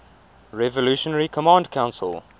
revolutionary command council